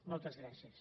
moltes gràcies